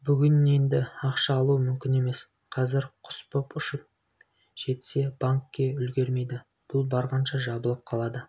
бүгін енді ақша алуы мүмкін емес қазір құс боп ұшып жетсе банкке үлгірмейді бұл барғанша жабылып қалады